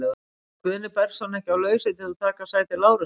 Var Guðni Bergsson ekki á lausu til að taka sæti Lárusar?